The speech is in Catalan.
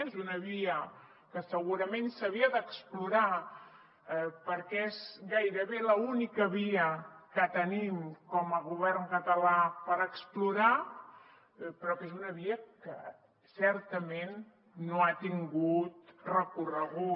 és una via que segurament s’havia d’explorar perquè és gairebé l’única via que tenim com a govern català per explorar però és una via que certament no ha tingut recorregut